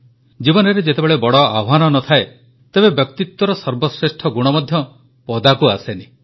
ଜୀବନରେ ଯେତେବେଳେ ବଡ଼ ଆହ୍ୱାନ ନ ଥାଏ ତେବେ ବ୍ୟକ୍ତିତ୍ୱର ସର୍ବଶ୍ରେଷ୍ଠ ଗୁଣ ମଧ୍ୟ ପଦାକୁ ଆସେନି